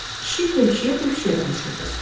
Kişi dövşiyə-dövşiyə danışırdı.